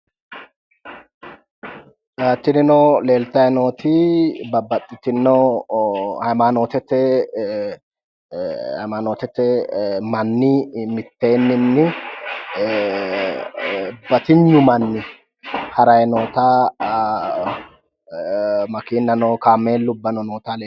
Tinino leeltayi nooti babbaxxitino hayimaanootete hayimaanootete manni mitteenninni batinyu manni harayi noota makiinnano kaameelubbano noota leellishanno